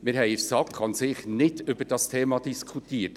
Wir haben in der SAK nicht über dieses Thema an sich diskutiert.